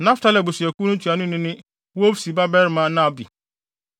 Naftali abusuakuw no ntuanoni ne Wofsi babarima Nahbi;